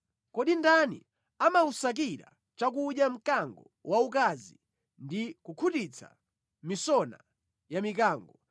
“Kodi ndani amawusakira chakudya mkango waukazi ndi kukhutitsa misona ya mikango